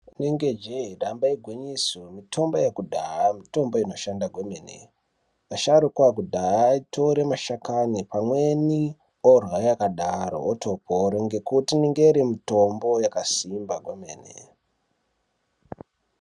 Rinenge jee damba igwinyiso mitombo yakudhaya mitombo inoshanda kwemene. Asharuka akudhaya aitore mashakani pamweni orya yakadaro otopora ngekuti inenge iri mitombo yakasimba kwemene.